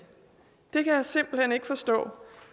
jeg kan simpelt hen ikke forstå